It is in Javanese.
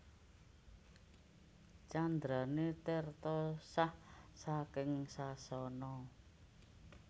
Candrané Tirta sah saking sasana